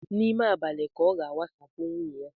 N'ime abalị ka ọ ga-wasapu nwunye ya